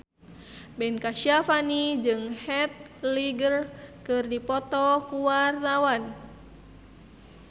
Ben Kasyafani jeung Heath Ledger keur dipoto ku wartawan